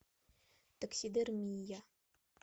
таксидермия